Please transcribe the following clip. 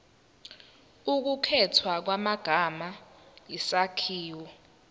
ukukhethwa kwamagama isakhiwo